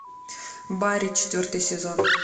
барри четвертый сезон